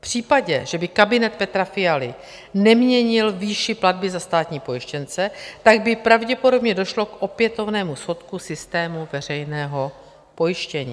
V případě, že by kabinet Petra Fialy neměnil výši platby za státní pojištěnce, tak by pravděpodobně došlo k opětovnému schodku systému veřejného pojištění.